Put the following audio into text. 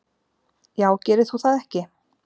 Já gerir þú það ekki?